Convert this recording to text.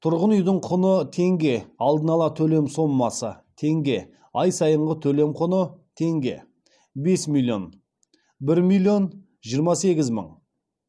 тұрғын үйдің құны теңге алдын ала төлем сомасы теңге ай сайынғы төлем құны теңге бес миллион бір миллион жиырма сегіз мың